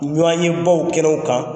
Ɲɔn ye baw kɛnɛ kan.